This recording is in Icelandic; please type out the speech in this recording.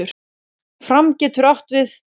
Fram getur átt við